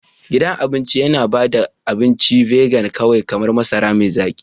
Gidan cin abinci yana ba da abincin vegan kawai kamar masara mai zaki.